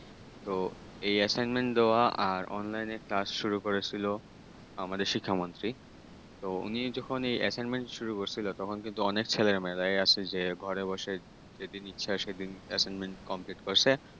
এই assignment দেওয়া আর online কাজ শুরু করেছিল আমাদের শিক্ষামন্ত্রী উনি যখন এই assignment শুরু করছিল তখন কিন্তু অনেক ছেলেমেয়েরায় আছে যে ঘরে বসে যেদিন ইচ্ছা সেদিন assignment complete করছে।